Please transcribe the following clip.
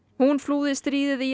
hún flúði stríðið í